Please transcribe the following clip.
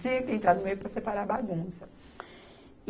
Tinha que entrar no meio para separar a bagunça.